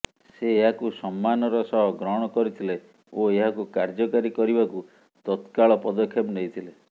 ସେ ଏହାକୁ ସମ୍ମାନର ସହ ଗ୍ରହଣ କରିଥିଲେ ଓ ଏହାକୁ କାର୍ଯ୍ୟକାରୀ କରିବାକୁ ତତ୍କାଳ ପଦକ୍ଷେପ ନେଇଥିଲେ